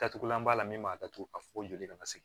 Datugulan b'a la min b'a datugu a fɔ ko joli kana se